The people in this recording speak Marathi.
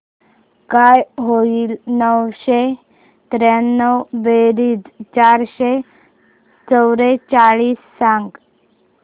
काय होईल नऊशे त्र्याण्णव बेरीज चारशे चव्वेचाळीस सांग